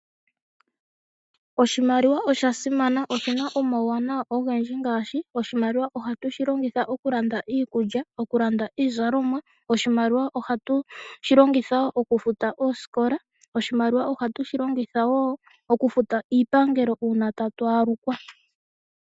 Oshimaliwa osha simana. Oshina omauwanawa ogendji ngaashi oshimaliwa ohatu shi longitha okulanda iikulya, okulanda iizalomwa. Oshimaliwa ohatu shi longitha wo okufuta oosikola. Oshimaliwa ohatu shi longitha wo okufuta iipangelo ngele tatu alukwa.